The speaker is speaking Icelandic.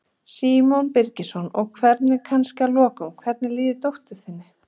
Símon Birgisson: Og hvernig, kannski að lokum, hvernig líður dóttur þinni?